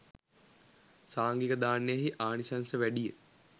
සාංඝික දානයෙහි ආනිශංස වැඩි ය